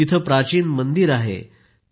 तिथं प्राचीन मंदिर वगैरे आहे